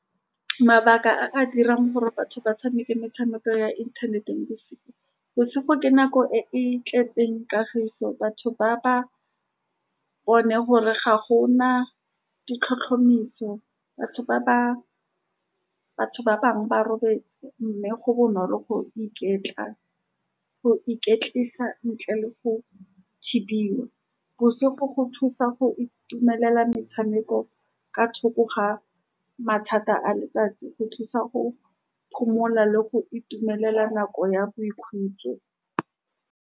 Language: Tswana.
Mabaka a a dirang gore batho ba tshameke metshameko ya internet-eng , bosigo ke nako e e tletseng kagiso. Batho ba-ba bone gore ga go na ditlhotlhomiso, batho ba-ba bangwe ba robetse mme go bonolo go iketla, go iketlisa ntle le go thibiwa, bosigo go thusa go itumelela metshameko ka thoko ga mathata a letsatsi, go tlisa go phomola le go itumelela nako ya boikhutso.